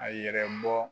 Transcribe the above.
A yɛrɛ bɔ